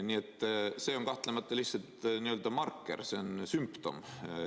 Nii et see on kahtlemata lihtsalt n‑ö marker, see on sümptom.